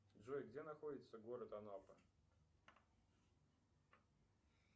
джой где находится город анапа